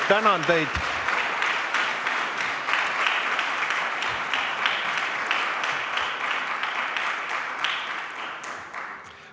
Tänan teid!